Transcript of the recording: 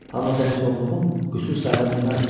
Amma dəlisovluğum qüsur sayıla bilməzdi.